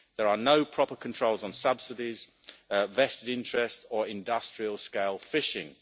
There are no proper controls on subsidies, vested interests or industrial scale fishing.